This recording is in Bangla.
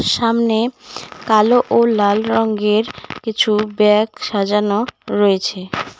সামনে কালো ও লাল রঙ্গের কিছু ব্যাগ সাজানো রয়েছে।